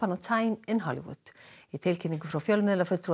a time in Hollywood í tilkynningu frá fjölmiðlafulltrúa